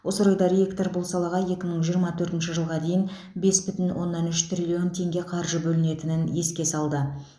осы орайда ректор бұл салаға екі мың жиырма төртінші жылға дейін бес бүтін оннан үш триллион теңге қаржы бөлінетінін еске салды